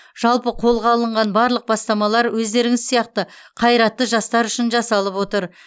жалпы қолға алынған барлық бастамалар өздеріңіз сияқты қайратты жастар үшін жасалып отыр